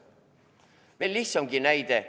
Või veel lihtsam näide.